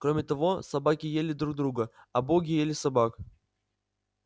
кроме того собаки ели друг друга а боги ели собак